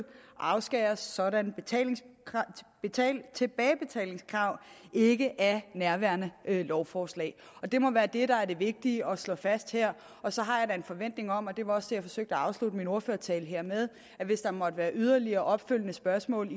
afskæres sådanne tilbagebetalingskrav ikke af nærværende lovforslag det må være det der er det vigtige at slå fast her og så har jeg da en forventning om det var også det jeg forsøgte at afslutte min ordførertale her med at hvis der måtte være yderligere opfølgende spørgsmål